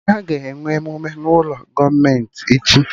Aga enwe emume n'ụlọ gọọmenti echi